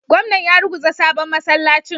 Gwamnan ya ruguza sabon masallacin